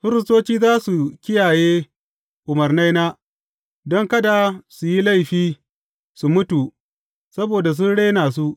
Firistoci za su kiyaye umarnaina don kada su yi laifi su mutu saboda sun rena su.